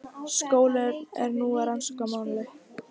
Skólinn er nú að rannsaka málið